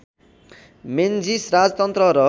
Menzies राजतन्त्र र